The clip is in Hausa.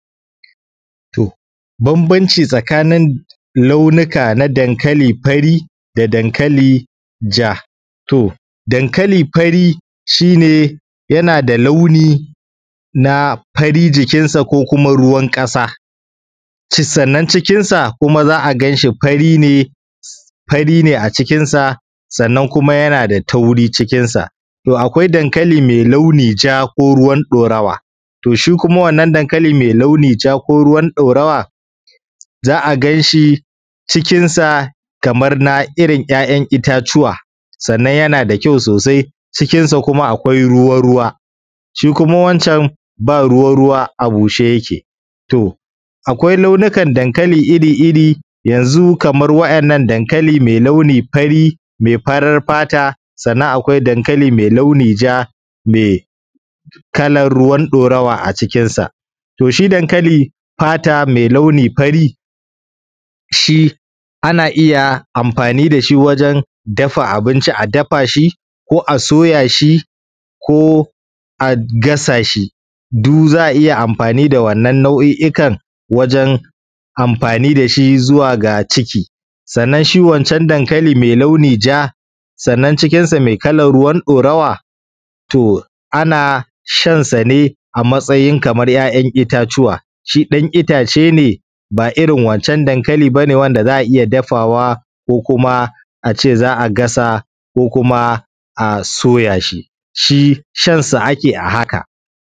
To bambanci tsakanin launuka na dankali fari da dankali ja. To, dankali fari shi ne yana da launi na fari jikinsa ko kuma ruwan ƙasa, sannan kuma cikinsa za a gan shi fari ne, fari ne acikinsa sannan kuma yana da tauri cikinsa. Akwai dankali mai launi ja ko kuma ruwan ɗorawa, kuma wannan dankali mai launin ja ko ruwan ɗorawa za a ganshi cikinsa kamar na irin ‘ya’yan itatuwa, sannan yana da kyau sosai cikinsa kuma akwai ruwa-ruwa, shi kuma wancan ba ruwa-ruwa a bushe yake. To, akwai launukan dankali iri-iri yanzu kamar wa’innan dankali mai launi fari mai farin fata, sannan akwai dankali mai launi ja mai kalar ruwan ɗorawa acikinsa. To shi dankali fata mai launi fari shi ana iya amfani da shi wurin dafa abinci, a dafa shi ko a soya shi ko a gasa shi, du za a iya amfani da wannan nau’i’ikan wajen amfani da shi zuwa ga ciki. Sannan shi wancan dankali mai launi ja sannan cikinsa mai kalar ruwan ɗorawa, to ana shan sa ne a matsayin kamar ‘ya’yan itatuwa, shi ɗan itace ne ba irin wancan dankali bane wanda za a iya dafawa ko kuma a ce za a gasa ko kuma a soya shi, shi shan sa ake a haka.